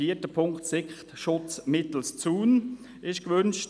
Vierter Punkt: Es wird ein Sichtschutz mittels eines Zaunes gewünscht.